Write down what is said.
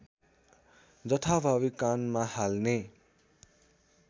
जथाभावी कानमा हाल्ने